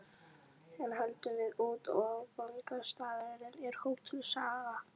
Enn höldum við út, og áfangastaðurinn er Hótel Saga.